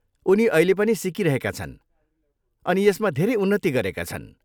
उनी अहिले पनि सिकिरहेका छन् अनि यसमा धेरै उन्नति गरेका छन्।